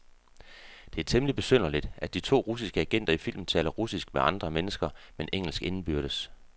Det er temmeligt besynderligt, at de to russiske agenter i filmen taler russisk med andre mennesker, men engelsk indbyrdes.